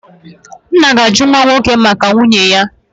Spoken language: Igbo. nna ga-ajụ nwa nwoke maka nwunye ya.